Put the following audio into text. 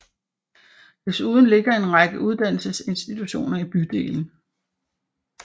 Desuden ligger en række uddannelsesinstitutioner i bydelen